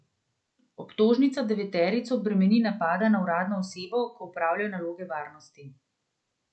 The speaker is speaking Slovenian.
Obtožnica deveterico bremeni napada na uradno osebo, ko opravlja naloge varnosti.